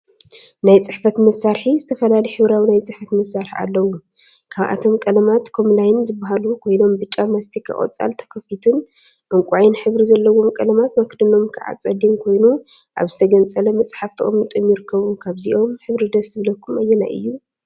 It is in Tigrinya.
ናይ ፅሕፈት መሳርሒ ዝተፈላለዩ ሕብራዊ ናይ ፅሕፈት መሳርሒ አለው፡፡ ካብአቶም ቀለማት ኮምላይን ዝብሃሉ ኮይኖም፤ ብጫ፣ ማስቲካ፣ ቆፃል ተከፊቱን ዕንቋይን ሕብሪ ዘለዎም ቀለማት መክደኖም ከዓ ፀሊም ኮይኑ ፤አብ ዝተገንፀለ መፅሓፍ ተቀሚጦም ይርከቡ፡፡ ካብዞም ሕብሪ ደስ ዝብለኩም አየናይ እዩ?